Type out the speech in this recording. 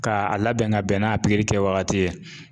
Ka a labɛn ka bɛn n'a pikiri kɛ wagati ye